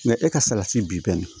e ka salati bi bɛni